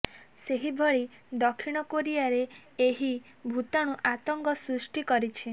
ସେହଭଳି ଦକ୍ଷିଣ କୋରିଆରେ ଏହି ଭୂତାଣୁ ଆତଙ୍କ ସୃଷ୍ଟି କରିଛି